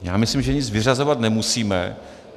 Já myslím, že nic vyřazovat nemusíme.